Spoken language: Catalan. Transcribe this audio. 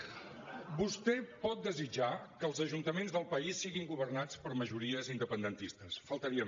vostè pot desitjar que els ajuntaments del país siguin governats per majories independentistes només faltaria